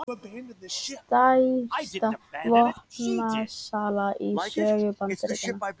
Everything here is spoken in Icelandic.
Stærsta vopnasala í sögu Bandaríkjanna